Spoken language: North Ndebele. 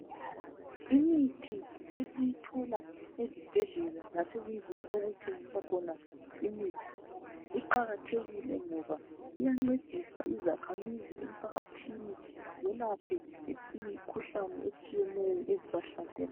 Imithi isiyithola ezibhedlela lasezindlini okuthengiswa khona imithi iqakathekile ngoba iyancedisa izakhamizi emphakathini zelaphe imikhuhlane etshiyeneyo ezibahlaselayo.